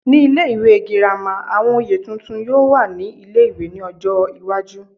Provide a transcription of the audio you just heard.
Ní ilé ìwé girama, àwọn oyè tuntun yóò wà ní ilé-ìwé ní ọjọ́ iwájú